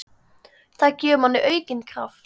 Það gefur manni aukinn kraft.